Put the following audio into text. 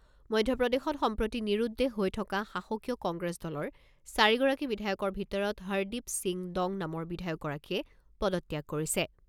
মধ্যপ্ৰদেশত সম্প্ৰতি নিৰুদ্দেশ হৈ থকা শাসকীয় কংগ্ৰেছ দলৰ চাৰিগৰাকী বিধায়কৰ ভিতৰত হৰদ্বীপ সিং দং নামৰ বিধায়কগৰাকীয়ে পদত্যাগ কৰিছে।